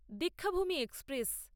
Deekshabhoomi express